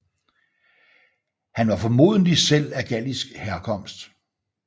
Han var formodentlig selv af gallisk herkomst